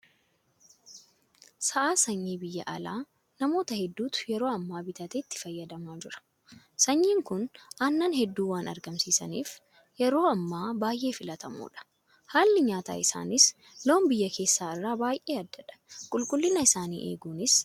Sa'a sanyii biyya alaa namoota hedduutu yeroo ammaa bitatee itti fayyadamaa jira. Sanyiin kun Aannan hedduu waan argamsiisaniif yeroo ammaa baay'ee filatamoodha. Haalli nyaata isaaniis loon biyya keessaa irraa baay'ee addadha. Qulqullina isaanii eeguunis bu'aa fooyya'aan akka irraa argamu taasisaa jira.